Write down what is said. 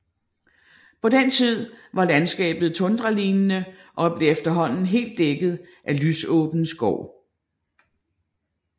På den tid var landskabet tundralignende og blev efterhånden helt dækket af lysåben skov